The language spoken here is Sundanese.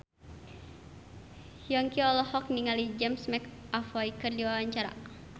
Yongki olohok ningali James McAvoy keur diwawancara